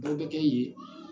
Bɔw be kɛ yen